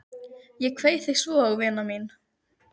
Ég kveð þig svo vina mín.